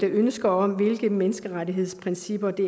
ønsker om hvilke menneskerettighedsprincipper de